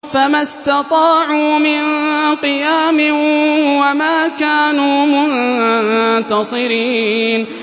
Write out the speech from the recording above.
فَمَا اسْتَطَاعُوا مِن قِيَامٍ وَمَا كَانُوا مُنتَصِرِينَ